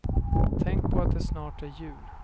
Tänk på att det snart är jul.